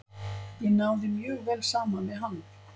Ég náði mjög vel saman við hann.